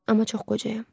Amma çox qocayam.